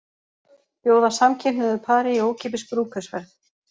Bjóða samkynhneigðu pari í ókeypis brúðkaupsferð